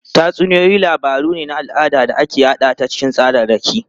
Tatsuniyoyi labaru ne na al'ada da aka yada ta cikin tsararraki.